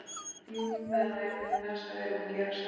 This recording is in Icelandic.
Jú, það er nú einmitt það sem við erum að gera- sagði